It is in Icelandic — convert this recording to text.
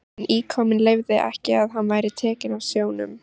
En íkoninn leyfði ekki að hann væri tekinn af sjónum.